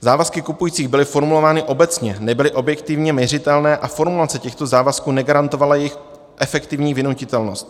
Závazky kupujícího byly formulovány obecně, nebyly objektivně měřitelné a formulace těchto závazků negarantovala jejich efektivní vynutitelnost.